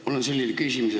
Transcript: Mul on selline küsimus.